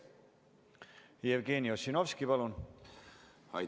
Jevgeni Ossinovski, palun!